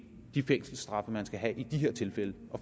de fængselsstraffe man skal have i de her tilfælde